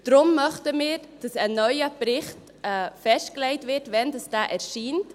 Deshalb möchten wir, dass festgelegt wird, wann ein neuer Bericht erscheint.